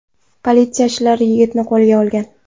Politsiyachilar yigitni qo‘lga olgan.